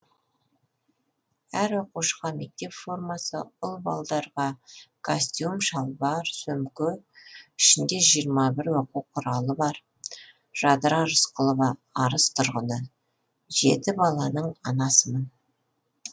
әр оқушыға мектеп формасы ұл балдарға костюм шалбар сөмке ішінде жиырма бір оқу құралы бар жадыра рысқұлова арыс тұрғыны жеті баланың анасымын